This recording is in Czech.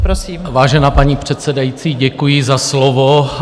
Vážená paní předsedající, děkuji za slovo.